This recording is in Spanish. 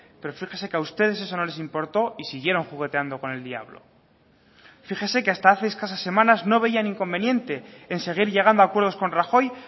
pero fíjese que a ustedes eso no les importó y siguieron jugueteando con el diablo fíjese que hasta hace escasas semanas no veían inconveniente en seguir llegando a acuerdos con rajoy